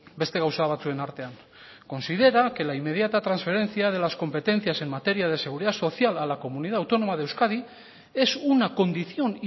beste gauza batzuen artean considera que la inmediata transferencia de las competencias en materia de seguridad social a la comunidad autónoma de euskadi es una condición